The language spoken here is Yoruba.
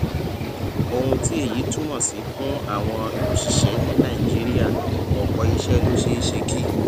ohun tí èyí túmọ sí fún àwọn òṣìṣẹ ní nàìjíríà ọpọ iṣẹ ló ṣeé ṣe kí